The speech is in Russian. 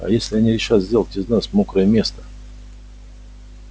а если они решат сделать из нас мокрое место